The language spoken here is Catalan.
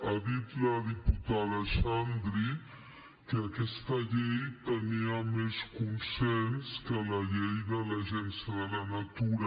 ha dit la diputada xandri que aquesta llei tenia més consens que la llei de l’agencia de la natura